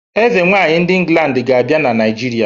Ezenwaanyi ndi England ga-abia na naijiria.